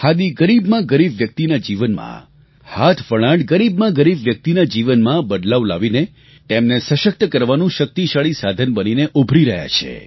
ખાદી ગરીબમાં ગરીબ વ્યક્તિના જીવનમાં હાથવણાટ ગરીબમાં ગરીબ વ્યક્તિના જીવનમાં બદલાવ લાવીને તેમને સશક્ત બનાવવાનું શક્તિશાળી સાધન બનીને ઊભરી રહ્યું છે